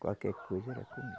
Qualquer coisa era comigo.